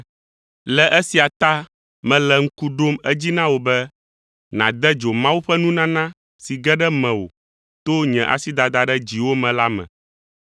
Le esia ta mele ŋku ɖom edzi na wò be nàde dzo Mawu ƒe nunana si ge ɖe mewò to nye asidada ɖe dziwò me la me,